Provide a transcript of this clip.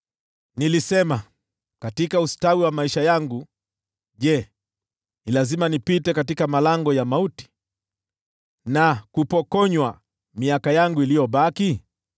Nilisema, “Katika ustawi wa maisha yangu, je, ni lazima nipite katika malango ya mauti, na kupokonywa miaka yangu iliyobaki?”